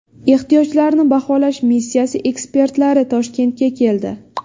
Ehtiyojlarni baholash missiyasi ekspertlari Toshkentga keldi.